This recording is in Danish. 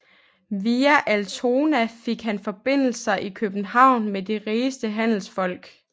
Via Altona fik han forbindelser i København med de rigeste handelsfolk